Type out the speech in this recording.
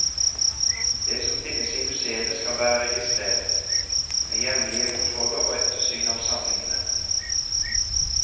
Det som finnes i museene skal være registrert, med jevnlige kontroller og ettersyn av samlingene.